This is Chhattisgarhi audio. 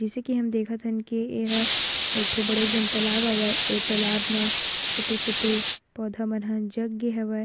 जइसे की हम देखा थन की एहा एक ठो बड़े जान तालाब आवय ए तालाब म छोटे-छोटे पौधा मन ह जग गे हवय।